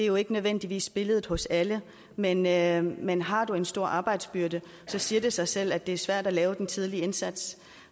jo ikke nødvendigvis billedet hos alle men alle men har du en stor arbejdsbyrde siger det sig selv at det er svært at lave den tidlige indsats